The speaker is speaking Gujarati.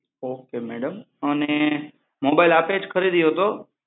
Ok madam અને મોબાઈલ આપે જ ખરીદ્યો હતો?